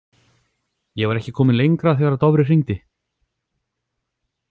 Ég var ekki kominn lengra þegar Dofri hringdi.